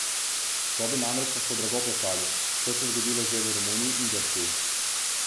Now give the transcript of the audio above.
To bi namreč lahko drago plačali, kot se je zgodilo že v Romuniji in Grčiji.